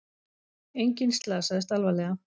Enginn slasaðist alvarlega